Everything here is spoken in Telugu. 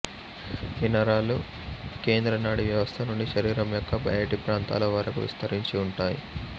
ఈ నరాలు కేంద్ర నాడీ వ్యవస్థ నుండి శరీరం యొక్క బయటి ప్రాంతాల వరకు విస్తరించి ఉంటాయి